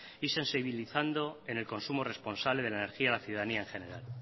y sensibilizando en el consumo responsable de la energía a la ciudadanía en general